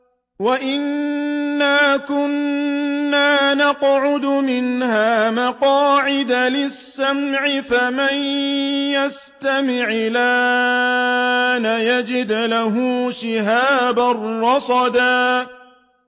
وَأَنَّا كُنَّا نَقْعُدُ مِنْهَا مَقَاعِدَ لِلسَّمْعِ ۖ فَمَن يَسْتَمِعِ الْآنَ يَجِدْ لَهُ شِهَابًا رَّصَدًا